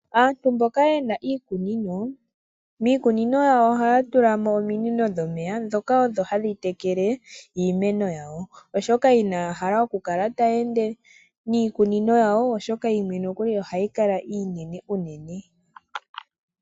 Aantu mboka yena iikunino, miikunino yawo ohaya tulamo ominino dhomeya dhoka odho hadhi tekele iimeno yawo, oshoka inaya hala okukala taya ende miikunino yawo oshoka iimeno okwali ohayi kala iinene uunene.